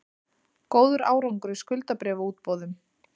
Góður árangur í skuldabréfaútboðum